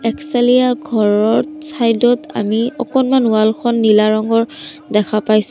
একচেলিয়া ঘৰত চাইড ত আমি অকণমান ৱাল খন নীলা ৰঙৰ দেখা পাইছোঁ।